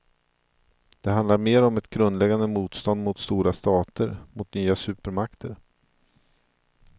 Det handlar mer om ett grundläggande motstånd mot stora stater, mot nya supermakter.